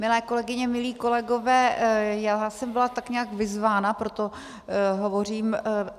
Milé kolegyně, milí kolegové, já jsem byla tak nějak vyzvána, proto hovořím.